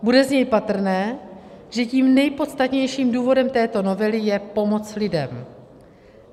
Bude z něj patrné, že tím nejpodstatnějším důvodem této novely je pomoc lidem.